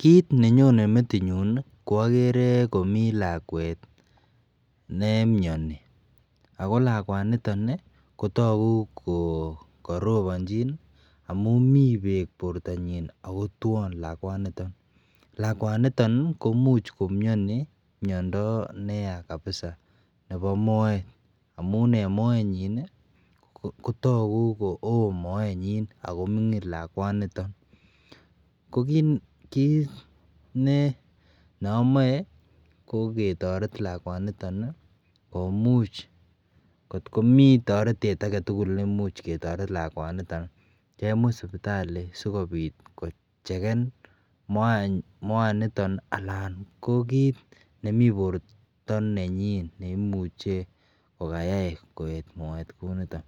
Kit nenyonen metit nyun kwagere komii lakwet nemiani ako lakwaniton kotagu go kokarobanchi lakwaniton amun mi bek bortanyin akotwan lakwaniton komuch komiani miando neyaa kabisa Nebo Moet amun en Moet nanyin kotagu Koon Moet nanyin akomingin lakwaniton ko kit neamae ko ketaret lakwaniton komuch anan kotkomi taretet agetugul nemuch ketaret lakwaniton kemut sibitali sikobit kocheken Moet niton anan ko kit nemi borta nenyin neimuche kokayai koet Moet Kouniton